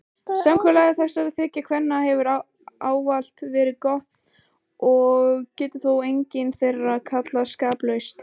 Samkomulag þessara þriggja kvenna hefur ávallt verið gott og getur þó engin þeirra kallast skaplaus.